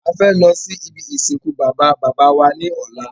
A fẹ́ lọ sí ibi ìsìnkú Baba bàbá wa ní ọ̀lá